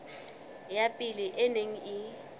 ya pele e neng e